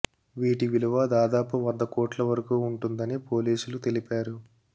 వీటి విలువ దాదాపు వంద కోట్ల వరకూ ఉంటుందని పోలీసులు తెలిపారు